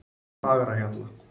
Fagrahjalla